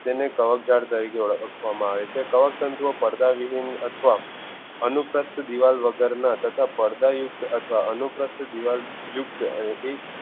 તેને કવકજાળ તરીકે ઓળખવામાં આવે છે કવકતંતુ પડદા વિહીન અથવા અનુપ્રસ્થ દીવાલ વગરના તથા પડદા યુક્ત અથવા અનુપ્રસ્થ દીવાલ યુક્ત